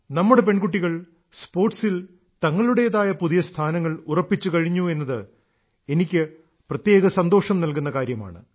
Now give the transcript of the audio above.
നമ്മുടെ പെൺകുട്ടികൾ സ്പോർട്സിൽ തങ്ങളുടേതായ പുതിയ സ്ഥാനങ്ങൾ ഉറപ്പിച്ചു കഴിഞ്ഞു എന്നത് എനിക്ക് പ്രത്യേക സന്തോഷം നൽകുന്ന കാര്യമാണ്